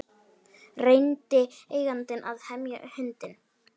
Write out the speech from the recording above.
Reyndi eigandinn að hemja hundinn